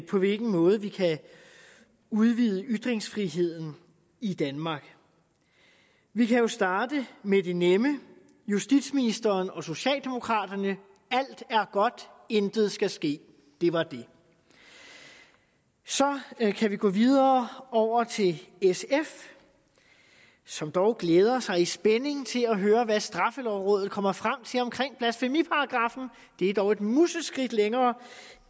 på hvilken måde vi kan udvide ytringsfriheden i danmark vi kan jo starte med det nemme justitsministeren og socialdemokraterne alt er godt intet skal ske det var det så kan vi gå videre over til sf som dog glædede sig i spænding til at høre hvad straffelovrådet kommer frem til omkring blasfemiparagraffen det er dog et museskridt længere